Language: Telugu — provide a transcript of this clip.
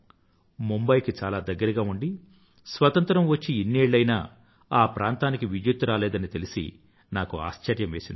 ముంబయ్ కి చాలా దగ్గరగా ఉండీ స్వతంత్రం వచ్చి ఇన్ని ఏళ్ళు అయినా ఆ ప్రాంతానికి విద్యుత్తు రాలేదని తెలిసి నాకు ఆశ్చర్యం వేసింది